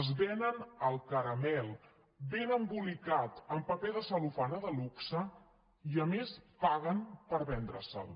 es venen el caramel ben embolicat amb paper de cel·lofana de luxe i a més paguen per vendre se’l